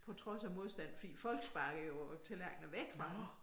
På trods af modstand fordi folk sparkede jo æ tallerkener væk fra dem